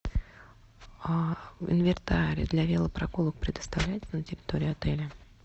инвентарь для велопрогулок предоставляют на территории отеля